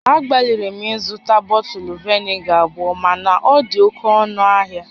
Agbalịrị m ịzụta bọtụlụ vinega abụọ mana ọ dị oke ọnụ ahia